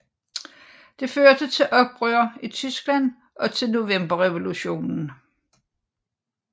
Det førte til oprør i Tyskland og til Novemberrevolutionen